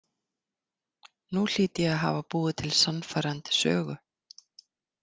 Nú hlýt ég að hafa búið til sannfærandi sögu.